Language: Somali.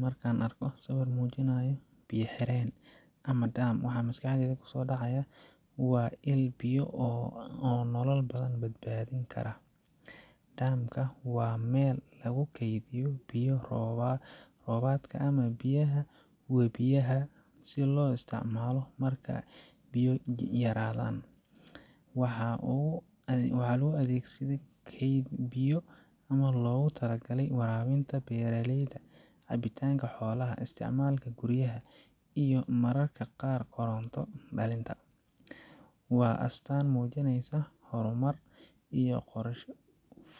Marka aan arko sawir muujinaya biyo-xireen ama dam, waxa maskaxdayda markiiba ku soo dhaca waa il biyo ah oo nolosha dad badan badbaadin karta. dam ka waa meel lagu kaydiyo biyo roobaadka ama biyaha webiyaha si loo isticmaalo marka biyo yaraan jirto. Waxa uu u adeegaa sidii kayd biyo ah oo loogu talagalay waraabinta beeraleyda, cabitaanka xoolaha, isticmaalka guriyaha, iyo mararka qaarkood koronto-dhalinta. Waa astaan muujinaysa horumar iyo qorshe